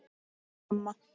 Klara amma.